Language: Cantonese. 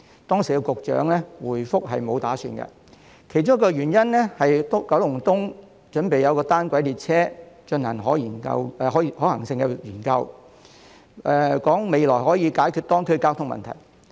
當時發展局局長的回覆是沒有打算，其中一個原因是九龍東的單軌列車正進行可行性研究，未來可以解決當區的交通問題。